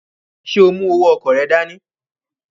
Ṣe o mu owó ọkọ rẹ dání?